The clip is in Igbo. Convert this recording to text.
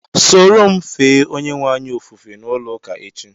Sóró m fee Onyenweanyị ofufe n'ulo ụka echi